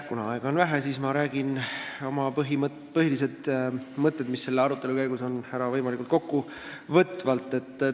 Kuna aega on vähe, siis ma räägin oma põhilised mõtted, mis selle arutelu käigus on tekkinud, võimalikult kokkuvõtvalt ära.